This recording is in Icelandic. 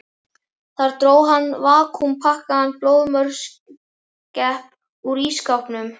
Þar dró hann vakúmpakkaðan blóðmörskepp úr ísskápnum.